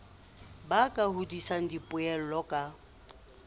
ba ka hodisang dipoelo ka